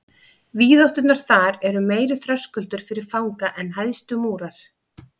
Víðátturnar þar eru meiri þröskuldur fyrir fanga en hæstu múrar.